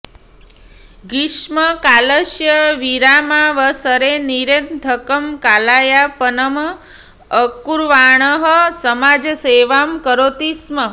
ग्रीष्मकालस्य विरामावसरे निरर्थकं कालयापनम् अकुर्वाणः समाजसेवां करोति स्म